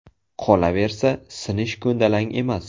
Qolaversa, sinish ko‘ndalang emas.